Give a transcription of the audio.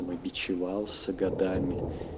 с годами